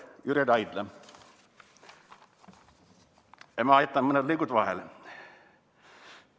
" Ma jätan mõned lõigud vahele.